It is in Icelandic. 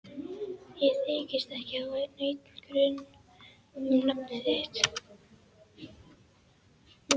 Ég þykist ekki hafa neinn grun um nafn þitt.